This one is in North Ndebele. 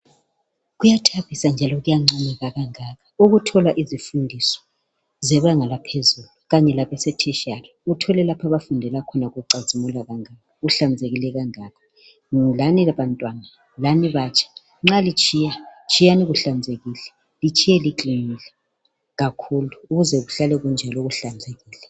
Kuyathabisa njalo kuyancomeka kangaka ukuthola izifundiswa zebanga laphezulu, Kanye labase tertinary. Uthole lapha abafundela kuona kucazimula kangaka, kuhlanzekile kangaka. Lani bantwana lani batsha, nxa litshiya, tshiyani kuhlanzekile. Litshiye liklinile. Ukulele kuhlale kunjalo kuhlanzekile.